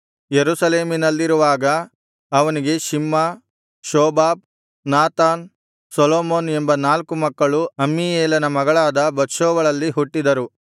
ಯೆರೂಸಲೇಮಿನಲ್ಲಿರುವಾಗ ಅವನಿಗೆ Shimea Shobab Nathan Solomon ಎಂಬ ನಾಲ್ಕು ಮಕ್ಕಳು ಅಮ್ಮೀಯೇಲನ ಮಗಳಾದ ಬತ್ಷೂವಳಲ್ಲಿ ಹುಟ್ಟಿದರು